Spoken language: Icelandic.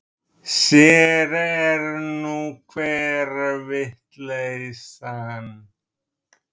Sér er nú hver vitleysan!